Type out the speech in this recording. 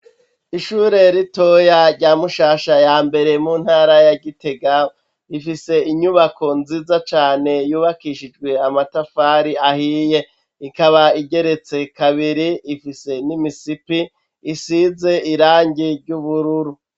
Ishure ritoya rya Mushasha ya mbere, mu ntara ya Gitega, ifise inyubako nziza cane yubakishijwe amatafari ahiye. Ikaba igeretse kabiri, ifise n'imisipi isize irangi ry'ubururu.